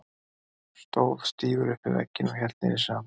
Stóð stífur upp við vegginn og hélt niðri í sér andanum.